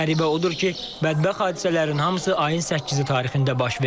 Qəribə odur ki, bədbəxt hadisələrin hamısı ayın 8-i tarixində baş verib.